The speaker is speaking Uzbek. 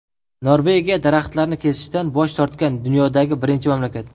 Norvegiya daraxtlarni kesishdan bosh tortgan dunyodagi birinchi mamlakat.